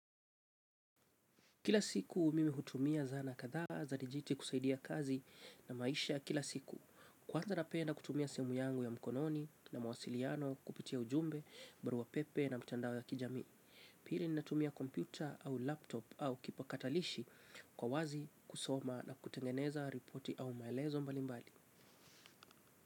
Kila siku mimi hutumia zana kadhaa za dijiti kusaidia kazi na maisha kila siku. Kwanza napenda kutumia simu yangu ya mkononi na mawasiliano kupitia ujumbe, baruapepe na mtandao ya kijamii. Pili ninatumia kompyuta au laptop au kipakatalishi kwa wazi kusoma na kutengeneza ripoti au maelezo mbalimbali.